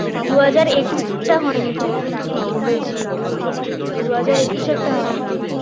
দু হাজার একুশটা হয়নি হয়েছিল দু হাজার একুশেরটা হয়নি